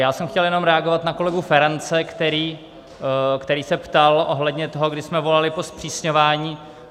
Já jsem chtěl jenom reagovat na kolegu Ferance, který se ptal ohledně toho, kdy jsme volali po zpřísňování.